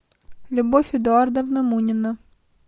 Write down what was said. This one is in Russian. любовь эдуардовна мунина